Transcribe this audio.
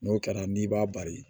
N'o kɛra n'i b'a bari